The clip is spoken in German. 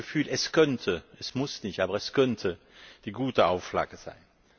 Ich habe das Gefühl, es könnte es muss nicht, aber es könnte eine gute Auflage sein.